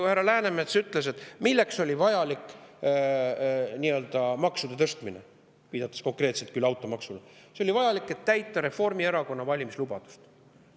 Härra Läänemets ütles selle kohta, milleks oli vajalik see nii-öelda maksude tõstmine, viidates konkreetselt küll automaksule: see oli vajalik, et täita Reformierakonna valimislubadust.